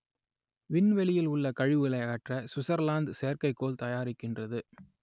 விண்வெளியில் உள்ள கழிவுகளை அகற்ற ஸ்விட்சர்லாந்து செயற்கைக்கோள் தயாரிக்கிறது